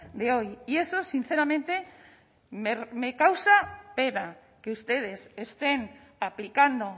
de hoy y eso sinceramente me causa pena que ustedes estén aplicando